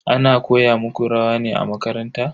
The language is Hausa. Ana koya muku rawa ne a makaranta?